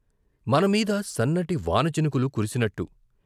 మనమీద సన్నటి వాన చినుకులు కురిసినట్టు.